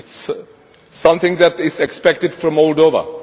This is something that is expected from Moldova.